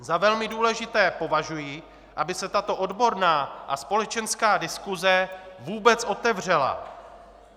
Za velmi důležité považuji, aby se tato odborná a společenská diskuse vůbec otevřela.